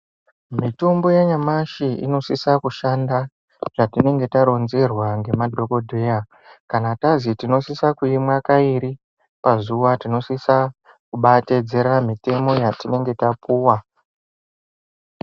Mitombo yanyamashi inosisa kushanda zvatinonga taronzerwa ngemadhogodheya, kana tazi tinosisa kuimwa kairi pazuva, tinosisa kubatedzera mitemo yatinenge tapuwa.